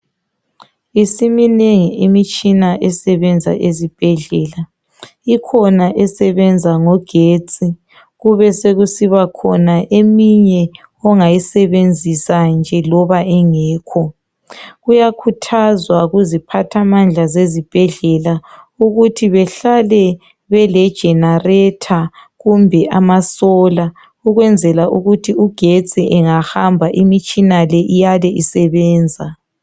Isiminengi imitshina esebenza ezibhedlela ikhona esebenza ngogetsi kube sokusiba khona eminye ongayisebenzi nje loba engekho kuyakhuthazwa kuziphathamandla zezibhedlela ukuthi behlale bele generator kumbe amasolar ukwenzela ukuthi ugetsi engahamba imitshina le iyale isebenza.